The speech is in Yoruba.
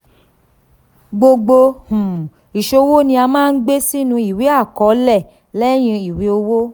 gbogbo um iṣowo ni a maa gbe sinu iwe akọọlẹ lẹyin iwe owo.